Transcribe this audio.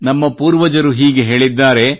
ನಮ್ಮ ಪೂರ್ವಜರು ಹೀಗೆ ಹೇಳಿದ್ದಾರೆ